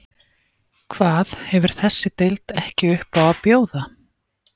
Hvað hefur þessi deild ekki upp á að bjóða?